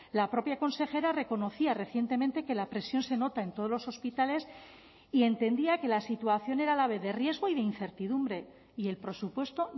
la propia consejera reconocía recientemente que la presión se nota en todos los hospitales y entendía que la situación era a la vez de riesgo y de incertidumbre y el presupuesto